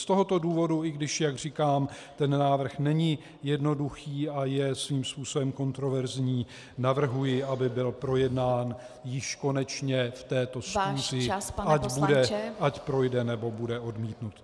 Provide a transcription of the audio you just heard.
Z tohoto důvodu, i když, jak říkám, ten návrh není jednoduchý a je svým způsobem kontroverzní, navrhuji, aby byl projednán již konečně v této schůzi , ať projde, nebo bude odmítnut.